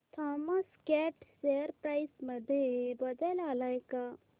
Thomas Scott share price मध्ये बदल आलाय का